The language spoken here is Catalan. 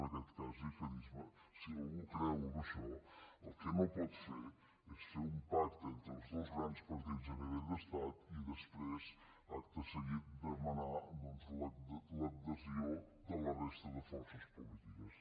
en aquest cas gihadisme si algú creu en això el que no pot fer és fer un pacte entre els dos grans partits a nivell d’estat i després acte seguit demanar doncs l’adhesió de la resta de forces polítiques